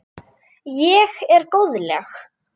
Ég er góðleg.